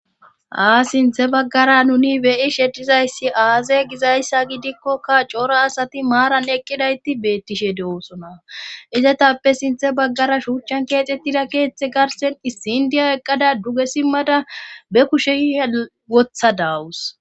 ha sinthe baggara nuni beyi sheddizayssi aazae gizayssa gidikkoka coora asati maaran eqqidayti beettishe de7oosona izetappe sinthe baggara shuuchchan keexxettida keeththe garsen issindiya eqqada duge simmada be kushe hewotha daawus